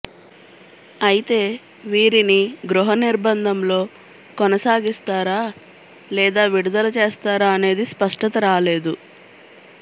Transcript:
అయితే వీరిని గృహ నిర్బంధంలో కొనసాగిస్తారా లేదా విడుదల చేస్తారా అనేది స్పష్టత రాలేదు